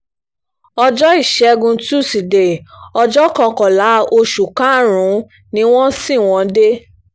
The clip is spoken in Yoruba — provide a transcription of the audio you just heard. ọjọ́ ìṣẹ́gun tuside ọjọ́ kọkànlá oṣù karùn-ún ni wọ́n ṣì wọ́n dé